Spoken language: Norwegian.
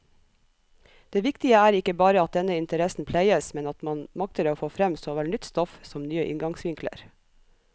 Det viktige er ikke bare at denne interessen pleies, men at man makter få frem såvel nytt stoff som nye inngangsvinkler.